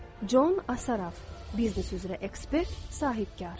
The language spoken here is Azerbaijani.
Con Asaraf, biznes üzrə ekspert, sahibkar.